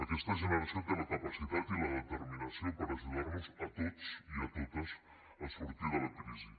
aquesta generació té la capacitat i la determinació per ajudar nos a tots i a totes a sortir de la crisi